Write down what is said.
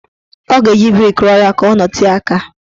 Ọ ga-eji brik ruọ ya ka ọ nọtee aka.